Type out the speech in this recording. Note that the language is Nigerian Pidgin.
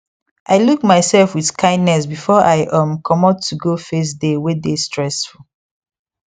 i look myself with kindness before i um comot to go face day wae dae stressful